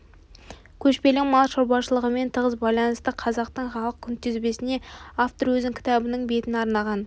көшпелі мал шаруашылығымен тығыз байланысты қазақтың халық күнтізбесіне автор өзінің кітабының бетін арнаған